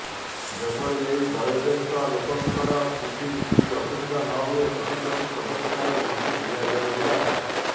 ଯେଭଳି ଏହି ବୟୋଜ୍ୟେଷ୍ଠ ଲୋକଙ୍କର କିଛି ବି ଅସୁବିଧା ନହୁଏ ସେଥିପ୍ରତି ସବୁ ପ୍ରକାର ଦୃଷ୍ଟି ଦିଆଯାଇଥିଲା